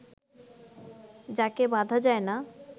যকে বাঁধা যায় না